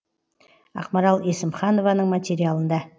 ақмарал есімханованың материалында